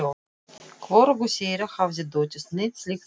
Hvorugu þeirra hafði dottið neitt slíkt í hug.